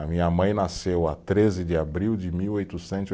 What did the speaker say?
A minha mãe nasceu a treze de abril de mil oitocentos e